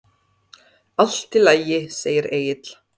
Allt í lagi, segir Egill.